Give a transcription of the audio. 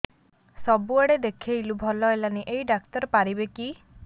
ସବୁଆଡେ ଦେଖେଇଲୁ ଭଲ ହେଲାନି ଏଇ ଡ଼ାକ୍ତର ପାରିବେ କି